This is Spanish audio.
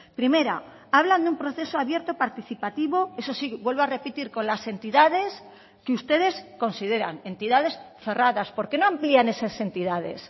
primera hablan de un proceso abierto participativo eso sí vuelvo a repetir con las entidades que ustedes consideran entidades cerradas por qué no amplían esas entidades